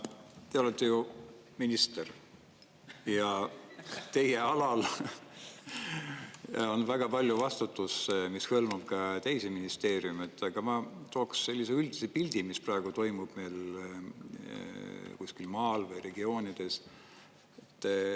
Te olete ju minister ja teie alal on väga palju vastutust, mis hõlmab ka teisi ministeeriume, aga ma tooksin sellise üldise pildi, mis praegu toimub meil kuskil maal või regioonides.